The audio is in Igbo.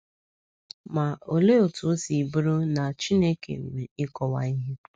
Ma olee otú o si bụrụ na “ Chineke nwe ịkọwa ihe ”?